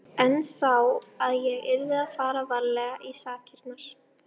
En sá að ég yrði að fara varlega í sakirnar.